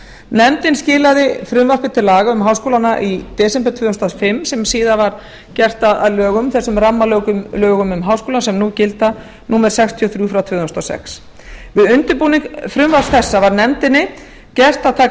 nefndin skilaði frumvarpi til laga um háskólana í desember tvö þúsund og fimm sem síðar varð að lögum þessum rammalögum um háskóla sem nú gilda númer sextíu og þrjú tvö þúsund og sex við undirbúning frumvarps þessa var nefndinni gert að taka mið